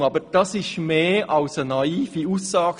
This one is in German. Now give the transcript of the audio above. Entschuldigung, aber das ist mehr als nur eine naive Aussage;